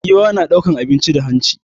Giwa na ɗaukan abinci da hanci ne